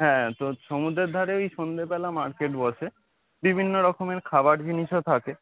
হ্যাঁ, তো সমুদ্রের ধারে ওই সন্ধ্যেবেলা market বসে বিভিন্ন রকমের খাবার জিনিসও থাকে